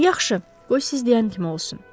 Yaxşı, qoy siz deyən kimi olsun.